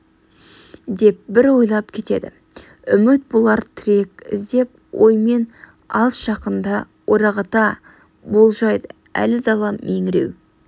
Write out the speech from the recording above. деп бір ойлап кетеді үміт болар тірек іздеп ойымен алыс жақынды орағыта болжайды әлі дала меңіреу